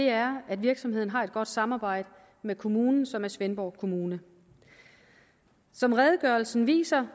er at virksomheden har et godt samarbejde med kommunen som er svendborg kommune som redegørelsen viser